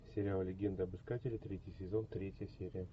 сериал легенда об искателе третий сезон третья серия